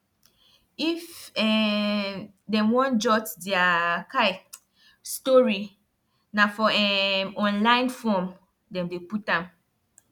if um dem wan jot dia um story na for um online form dem dey put am